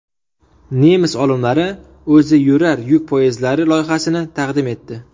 Nemis olimlari o‘ziyurar yuk poyezdlari loyihasini taqdim etdi.